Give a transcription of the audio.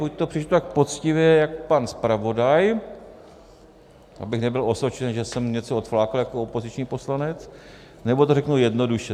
Buď to přečtu tak poctivě jak pan zpravodaj, abych nebyl osočen, že jsem něco odflákl jako opoziční poslanec, nebo to řeknu jednoduše.